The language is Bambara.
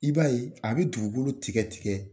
I b'a ye a bɛ dugukolo tigɛ tigɛ.